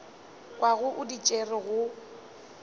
kwago o di tšere go